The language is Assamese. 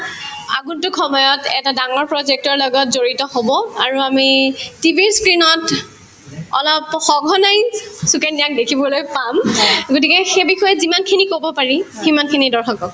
আগন্তুক সময়ত এটা ডাঙৰ project ৰ লগত জড়িত হব আৰু আমি TV ৰ screen ত অলপ সঘনাই সুকন্যাক দেখিবলৈ পাম গতিকে সেই বিষয়ত যিমানখিনি কব পাৰি সিমানখিনি দৰ্শকক